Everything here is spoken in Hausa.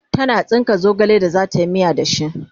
tana tsinka zogale da zatayi miya da shi